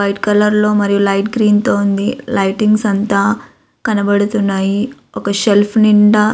White colour లో మరియు light green తో ఉంది. లైటింగ్స్ అంతా కనపడుతున్నాయి. ఒక సెల్ఫ్ నిండా --